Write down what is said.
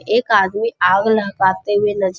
एक आदमी आग लगाते हुए नज --